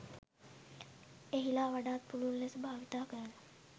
එහිලා වඩාත් පුළුල් ලෙස භාවිතා කරන